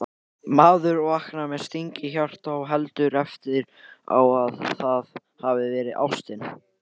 Maður vaknar með sting í hjarta og heldur eftir á að það hafi verið ástin